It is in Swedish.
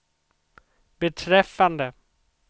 beträffande